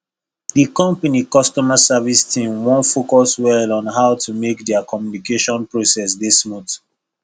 the company customer service team wan focus well on how to make their communication process dey smooth